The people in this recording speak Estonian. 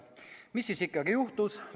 Mis siis ikkagi juhtus?